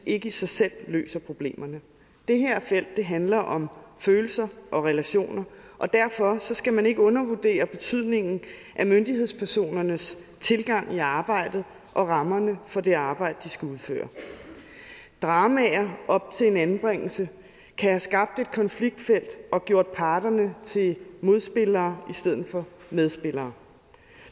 ikke i sig selv løser problemerne det her felt handler om følelser og relationer og derfor skal man ikke undervurdere betydningen af myndighedspersonernes tilgang i arbejdet og rammerne for det arbejde de skal udføre dramaer op til en anbringelse kan have skabt et konfliktfelt og gjort parterne til modspillere i stedet for medspillere